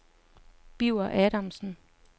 Birger Adamsen